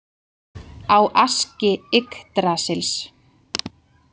Á Aski Yggdrasils?